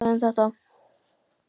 Er þá eitthvað talað um þetta?